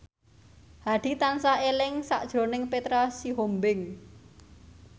Hadi tansah eling sakjroning Petra Sihombing